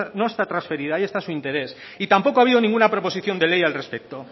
no está transferida ahí está su interés y tampoco ha habido ninguna proposición de ley al respecto